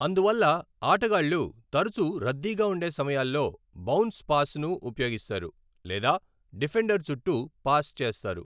అందువల్ల, ఆటగాళ్ళు తరచూ రద్దీగా ఉండే సమయాల్లో బౌన్స్ పాస్ను ఉపయోగిస్తారు, లేదా డిఫెండర్ చుట్టూ పాస్ చేస్తారు.